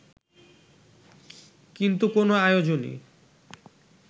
কিন্তু কোনো আয়োজনই